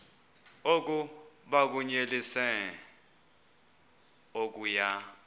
oku bakunyelise okuya